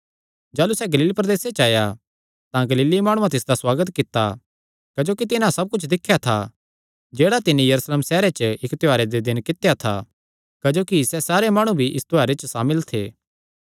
जाह़लू सैह़ गलील प्रदेसे च आया तां गलीली माणुआं तिसदा सुआगत कित्ता क्जोकि तिन्हां सब कुच्छ दिख्या था जेह्ड़ा तिन्नी यरूशलेम सैहरे च इक्क त्योहारे दे दिने कित्या था क्जोकि सैह़ सारे माणु भी इस त्योहारे च सामिल थे